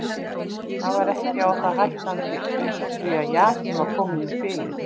Það var ekki á það hættandi úr því að jakinn var kominn í spilið.